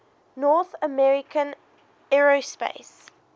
north american aerospace